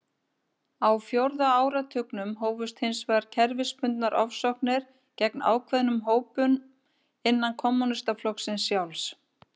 Á fjórða áratugnum hófust hins vegar kerfisbundnar ofsóknir gegn ákveðnum hópum innan kommúnistaflokksins sjálfs.